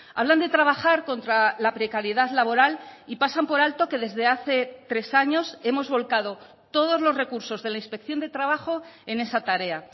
hablan de trabajar contra la precariedad laboral y pasan por alto que desde hace tres años hemos volcado todos los recursos de la inspección de trabajo en esa tarea